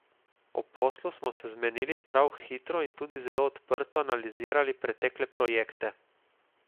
O poslu smo se zmenili prav hitro in tudi zelo odprto analizirali pretekle projekte.